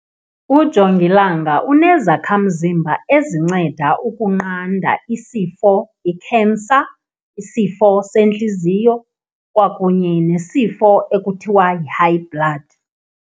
Ujongilanga unezakhamzimba ezinceda ukunqanda isifo ikhensa, isifo sentliziyo kwakunye nesifo ekuthiwa yi-high blood.